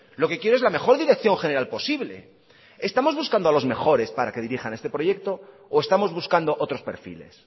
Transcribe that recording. lo que quiero es la mejor dirección general posible estamos buscando a los mejores para que dirijan este proyecto o estamos buscando otros perfiles